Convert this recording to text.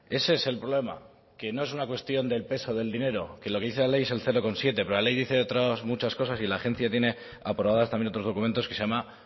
ese es el problema que no es una cuestión del peso del dinero que lo que dice la ley es el cero coma siete pero la ley dice de otras muchas cosas y la agencia tiene aprobadas también otros documentos que se llama